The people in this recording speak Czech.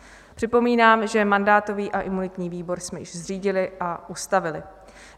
Připomínám, že mandátový a imunitní výbor jsme již zřídili a ustavili.